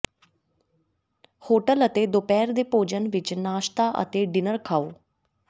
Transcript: hotel ਅਤੇ ਦੁਪਹਿਰ ਦੇ ਭੋਜਨ ਵਿਚ ਨਾਸ਼ਤਾ ਅਤੇ ਡਿਨਰ ਖਾਓ